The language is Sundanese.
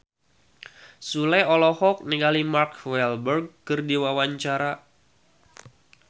Sule olohok ningali Mark Walberg keur diwawancara